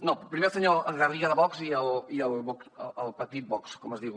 no primer el senyor garriga de vox i el petit vox com es diu